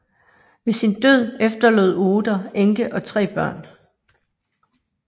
Ved sin død efterlod Oeder enke og tre børn